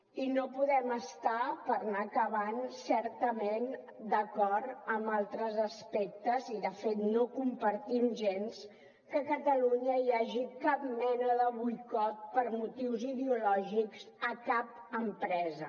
i no podem estar per anar acabant certament d’acord amb altres aspectes i de fet no compartim gens que a catalunya hi hagi cap mena de boicot per motius ideològics a cap empresa